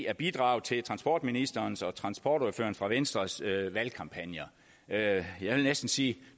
at bidrage til transportministerens og transportordføreren fra venstres valgkampagner jeg vil næsten sige at